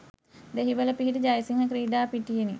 දෙහිවල පිහිටි ජයසිංහ ක්‍රීඩා පිටියෙනි